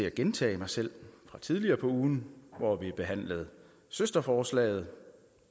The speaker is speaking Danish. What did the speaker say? at gentage mig selv fra tidligere på ugen hvor vi behandlede søsterforslaget